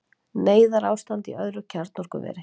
Neyðarástand í öðru kjarnorkuveri